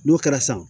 N'o kɛra san